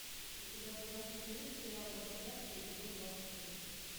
у тебя в загашнике есть сериал во все тяжкие эпизод двадцать шесть